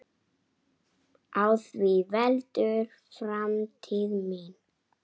Á því veltur framtíð mín!